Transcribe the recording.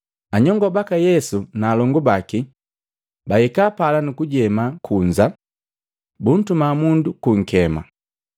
Anyongo baka Yesu na alongu baki bahika pala nukujema kunza, buntuma mundu kunkema.